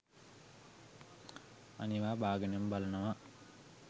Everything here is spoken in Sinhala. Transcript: අනිවා බාගෙනම බලනවා.